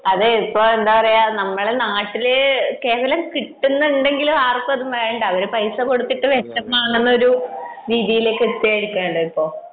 അതെ ഇപ്പഴ് എന്താ പറയാ നമ്മളെ നാട്ടില് കേവലം കിട്ടുന്നുണ്ടെങ്കിലും ആർക്കും വേണ്ട അത് പൈസ കൊടുത്തു വാങ്ങുന്ന ഒരു രീതിയിലേക്ക് എത്തിയിരിക്കുകയാണ് ഇപ്പൊ